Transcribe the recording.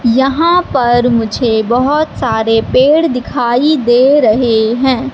यहां पर मुझे बहोत सारे पेड़ दिखाई दे रहे हैं।